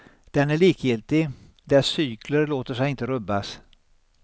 Den är likgiltig, dess cykler låter sig inte rubbas.